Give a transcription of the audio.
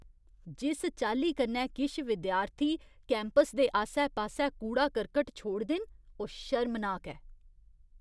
जिस चाल्ली कन्नै किश विद्यार्थी कैंपस दे आस्सै पास्सै कूड़ा करकट छोड़दे न, ओह् शर्मनाक ऐ।